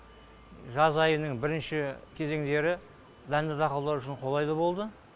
жаз айының бірінші кезеңдері дәнді дақылдар үшін қолайлы болды